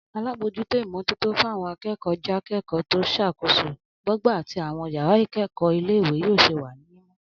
Alábòójútó ìmó̩tótó fáwo̩n aké̩kò̩ó̩ jáké̩kò̩ó̩ tó s̩àkóso bọ́gbà àtí àwo̩n yàrá ìké̩kò̩ó̩ ilé ìwé yóò̩ s̩e wà ní mímó̩